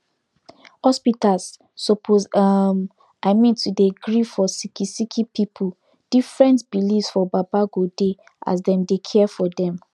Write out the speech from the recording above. hospitas suppos erm i mean to dey gree for sicki sicki pipu different beliefs for baba godey as dem dey care for dem